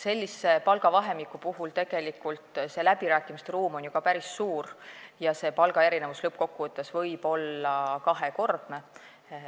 Sellise palgavahemiku puhul on läbirääkimiste ruum ju päris suur ja palgaerinevus võib lõppkokkuvõttes olla kahekordne.